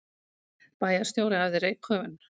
Bæjarstjóri æfði reykköfun